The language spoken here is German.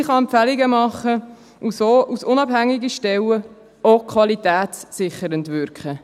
Sie kann Empfehlungen machen und so als unabhängige Stelle auch qualitätssichernd wirken.